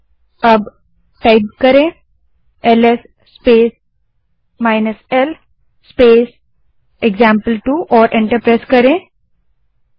अब LS space l space example two command type करें और एंटर दबायें